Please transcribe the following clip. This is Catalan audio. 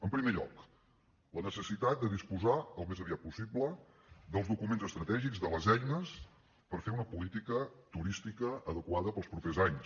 en primer lloc la necessitat de disposar al més aviat possible dels documents estratègics de les eines per fer una política turística adequada per als propers anys